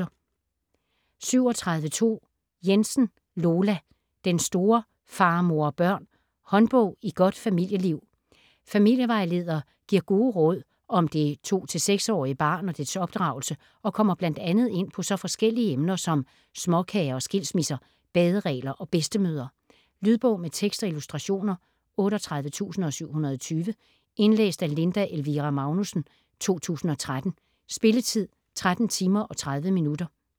37.2 Jensen, Lola: Den store Far, mor & børn: håndbog i godt familieliv Familievejleder giver gode råd om det 2-6 årige barn og dets opdragelse og kommer bl.a. ind på så forskellige emner som småkager og skilsmisse, baderegler og bedstemødre. Lydbog med tekst og illustrationer 38720 Indlæst af Linda Elvira Magnussen, 2013. Spilletid: 13 timer, 30 minutter.